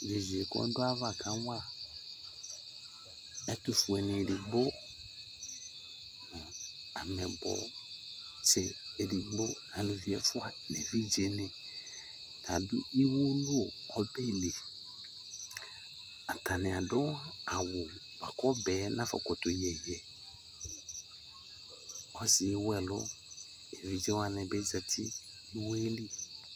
Yeye ko ado aba kawa ɛtofue ne edigbo, amɛbɔ se edigbo, aluvi ɛfua no evidze ne ta ado iwowu no ɔbɛ li Atane ado awu boako ɔbɛ nafɔkoto yɛ yɛ Ɔsiɛ ewu alu, evidze wane be zati no iwoɛ li